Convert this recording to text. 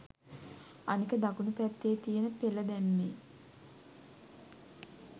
අනික දකුණු පැත්තෙ තියෙන පෙල දැම්මෙ